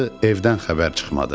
evdən xəbər çıxmadı.